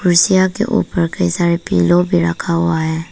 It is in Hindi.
कुर्सियां के ऊपर कई सारे पिलो भी रखा हुआ है।